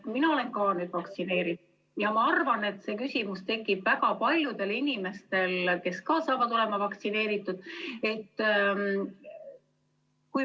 Mina olen nüüd vaktsineeritud ja ma arvan, et see küsimus tekib väga paljudel inimestel, kes ka saavad olema vaktsineeritud.